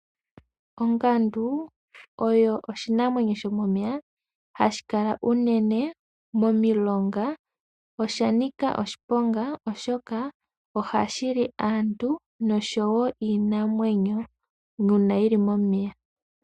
Ongandu oyo oshinamwenyo shomomeya hashi kala unene momilonga noshanika oshiponga oshoka, ohashi li aantu niinamwenyo yomomeya.